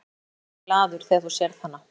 Ég veit að þú verður glaður þegar þú sérð hana.